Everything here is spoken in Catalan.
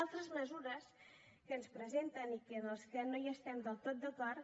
altres mesures que ens presenten i en què no estem del tot d’acord